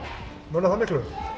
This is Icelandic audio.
munar það miklu